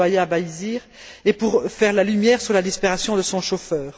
Chebeya Bahizire et pour faire la lumière sur la disparition de son chauffeur.